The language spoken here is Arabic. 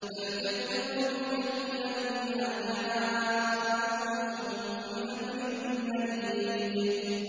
بَلْ كَذَّبُوا بِالْحَقِّ لَمَّا جَاءَهُمْ فَهُمْ فِي أَمْرٍ مَّرِيجٍ